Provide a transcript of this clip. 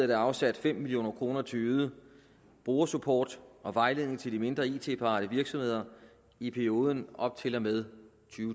der afsat fem million kroner til øget brugersupport og vejledning til de mindre it parate virksomheder i perioden op til og med